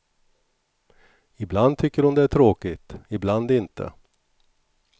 Ibland tycker hon det är tråkigt, ibland inte.